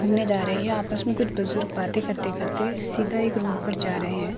घूमने जा रहे है आपस में कुछ बुजुर्ग बातें करते करते सीधा एक रोड पर जा रहे हैं।